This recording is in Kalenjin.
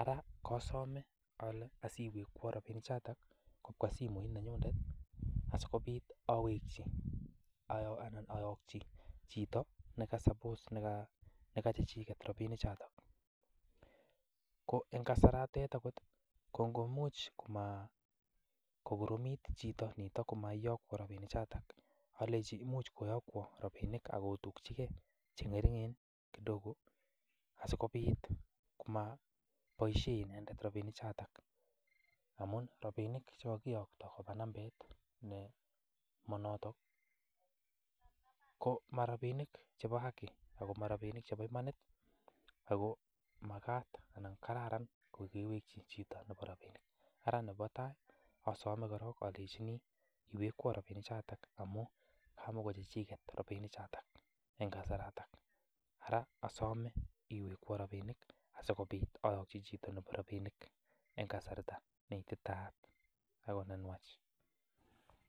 ara kosome ale asi iwekwon rabinik choto kobwa simoit nenyunet asikobit ayoki chito negachechiket rabinichoto. Ko en kasaratotet ko ingoimuch kogoromit chito nito komaiyakwan rabinik choto alenjini imuch koyakwa rabinik ak kutukyige che ng'ering'en kidogo asikobit komaboisie inendet rabinik choto amun rabinik che kogiyokto koba nambait ne monoto ko marabinik chebo haki ago marabiik chebo imanit, ago magat anan kararan kogewekyi chito nebo rabinik. Ara nebo tai asome korong alenjiini iwekwon rabinik choto amun kamagochechiket rabinik choto en kasaraton ara asome iwekwon rabinik asikobit ayoki chito nebo rabinik en kasarta ne ititayat ago nenwach.